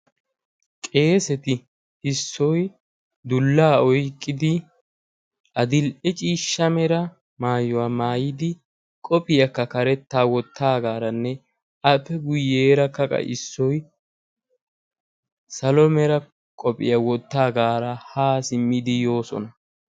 Qeeseti issoy dullaa oyqqidi adil77ee ciishsha mera maayuwaa maayidi qophiyaakka karetta wottaagaaranne appe guyyeera qassi issoy salo mera qophiyaa wottaagaara haa simmidi yoosona.